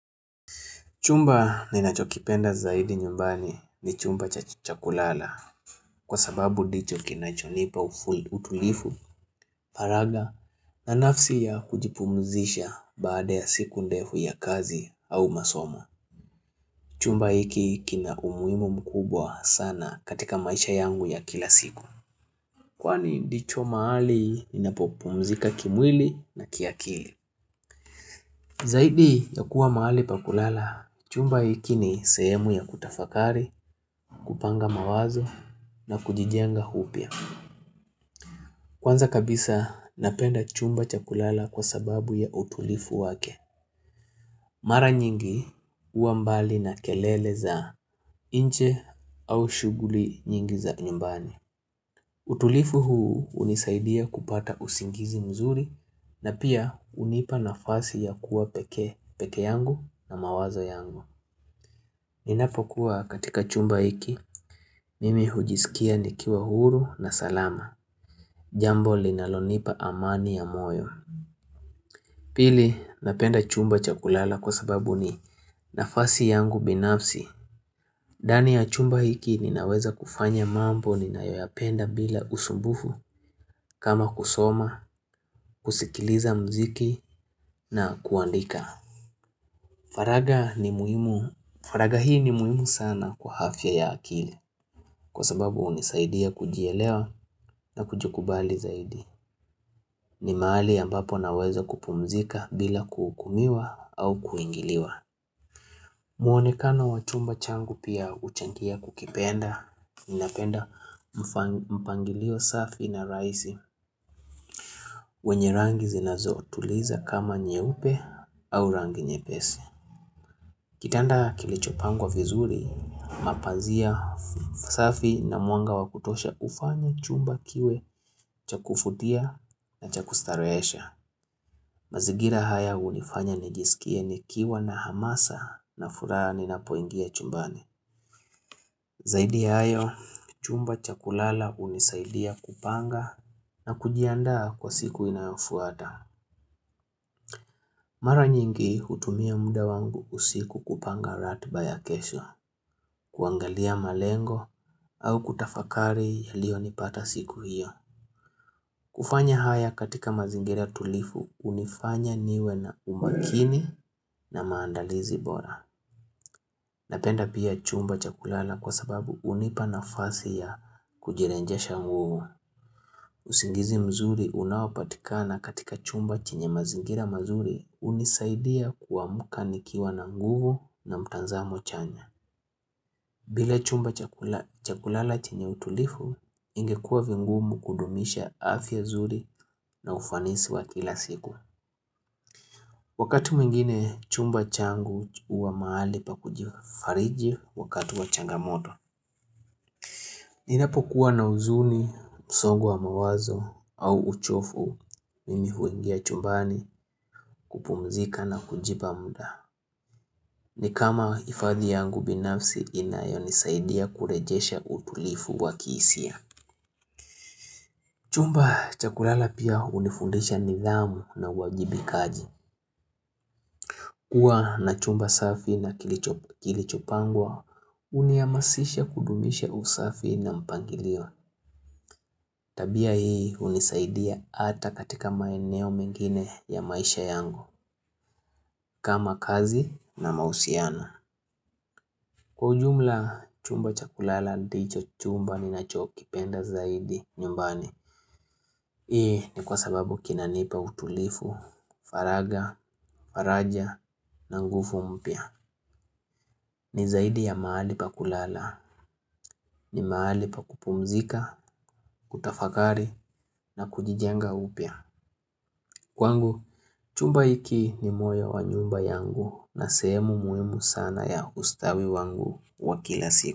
Chumba ninachokipenda zaidi nyumbani ni chumba cha kulala kwa sababu ndicho kinachonipa utulivu, paraga na nafasi ya kujipumzisha baada ya siku ndefu ya kazi au masomo. Chumba hiki kina umuhimu mkubwa sana katika maisha yangu ya kila siku. Kwani ndicho mahali ninapopumzika kimwili na kiakili. Zaidi ya kuwa mahali pa kulala, chumba hiki ni sehemu ya kutafakari, kupanga mawazo na kujijenga upya. Kwanza kabisa napenda chumba cha kulala kwa sababu ya utulivu wake. Mara nyingi huwa mbali na kelele za nje au shughuli nyingi za nyumbani. Utulivu huu hunisaidia kupata usingizi mzuri na pia hunipa nafasi ya kuwa pekee yangu na mawazo yangu. Ninapokuwa katika chumba hiki, mimi hujisikia nikiwa huru na salama. Jambo linalonipa amani ya moyo. Pili, napenda chumba chakulala kwa sababu ni nafasi yangu binapsi. Ndani ya chumba hiki ninaweza kufanya mambo ninayoyapenda bila usumbufu kama kusoma, kusikiliza mziki na kuandika. Faraga ni muhimu. Faraga hii ni muhimu sana kwa afya ya akili kwa sababu hunisaidia kujielewa na kujikubali zaidi. Ni mahali ambapo naweza kupumzika bila kuhukumiwa au kuingiliwa. Muonekano wa chumba changu pia huchangia kukipenda. Napenda mpangilio safi na rahisi wenye rangi zinazotuliza kama nyeupe au rangi nyepesi. Kitanda kilichopangwa vizuri, mapazia safi na mwanga wa kutosha ufanye chumba kiwe cha kuvutia na cha kustarehesha. Mazingira haya hunifanya nijisikie nikiwa na hamasa na furaha ninapoingia chumbani. Zaidi ya hayo, chumba cha kulala hunisaidia kupanga na kujiandaa kwa siku inayofuata. Mara nyingi hutumia muda wangu usiku kupanga ratiba ya kesho, kuangalia malengo au kutafakari yaliyonipata siku hiyo. Kufanya haya katika mazingira tulivu hunifanya niwe na umakini na maandalizi bora. Napenda pia chumba cha kulala kwa sababu hunipa nafasi ya kujirejesha nguvu. Usingizi mzuri unaopatikana katika chumba chenye mazingira mazuri hunisaidia kuamka nikiwa na nguvu na mtazamo chanya. Bila chumba cha kulala chenye utulivu ingekuwa vigumu kudumisha afya nzuri na ufanisi wa kila siku. Wakati mwengine chumba changu huwa mahali pa kujifariji wakati wa changamoto. Ninapokuwa na huzuni, msongo wa mawazo au uchovu, mimi huingia chumbani kupumzika na kujipa muda. Ni kama hifadhi yangu binafsi inayonisaidia kurejesha utulivu wa kihisia. Chumba cha kulala pia hunifundisha nidhamu na uwajibikaji. Kuwa na chumba safi na kilichopangwa, huniamasisha kudumisha usafi na mpangilio. Tabia hii hunisaidia ata katika maeneo mengine ya maisha yangu. Kama kazi na mausiana. Kwa ujumla, chumba cha kulala ndicho chumba ninachokipenda zaidi nyumbani. Hii ni kwa sababu kinanipa utulivu, faraga, faraja na nguvu mpya. Ni zaidi ya mahali pa kulala. Ni mahali pa kupumzika, kutafakari na kujijenga upya. Kwangu, chumba hiki ni moyo wa nyumba yangu na sehemu muhimu sana ya ustawi wangu wa kila siku.